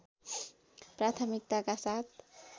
प्राथमिकताका साथ